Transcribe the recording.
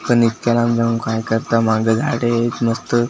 आणि इतक्या लांबून काय करताय? माग झाडे आहेत नुसतं.